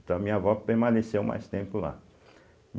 Então a minha avó permaneceu mais tempo lá.